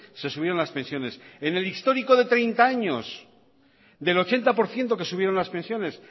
se subieron las pensiones en el histórico de treinta años del ochenta por ciento que subieron las pensiones